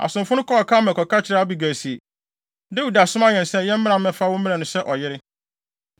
Asomfo no kɔɔ Karmel kɔka kyerɛɛ Abigail se, “Dawid asoma yɛn sɛ yɛmmra mmɛfa wo mmrɛ no sɛ ne yere.”